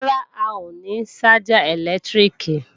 Rárá, a ò ní ṣájà ẹ̀lẹ́tíríkì